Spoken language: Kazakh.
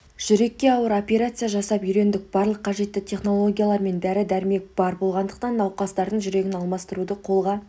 жүрекке ауыр операция жасап үйрендік барлық қажетті технологиялар мен дәрі-дәрмек бар болғандықтан науқастардың жүрегін алмастыруды қолға